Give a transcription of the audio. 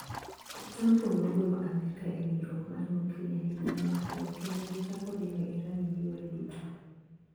Otampo nogolo Amerka ewinjruok mar nuklia higa mokalo kendo gichako diyo Iran gi yore duto.